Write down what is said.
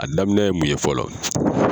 A daminɛ ye mun ye fɔlɔ ?